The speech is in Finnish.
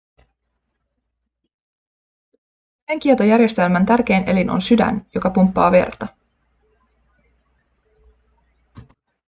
verenkiertojärjestelmän tärkein elin on sydän joka pumppaa verta